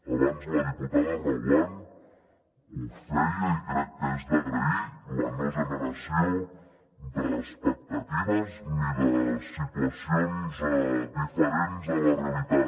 abans la diputada reguant ho feia i crec que és d’agrair la no generació d’expectatives ni de situacions diferents a la realitat